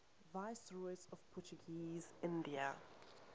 viceroys of portuguese india